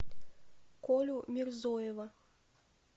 колю мирзоева